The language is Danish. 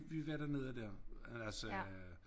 Vi var derrnede dér men altså øh